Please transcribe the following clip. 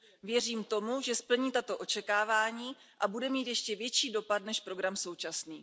Věřím tomu, že splní tato očekávání a bude mít ještě větší dopad než program současný.